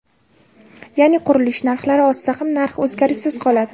Ya’ni qurilish narxlari oshsa ham, narx o‘zgarishsiz qoladi.